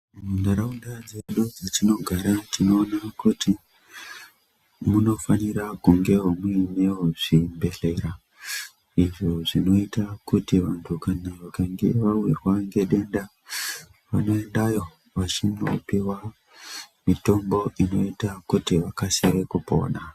Munharaunda dzedu dzatinogara tinoona kuti munofanira kungewo munewozvibhehlera izvo zvinoita kuti vantu kana vakange vawirwa ngedenda vanoendayo vachinopiwa mitombo inoita kuti vaksike kupona.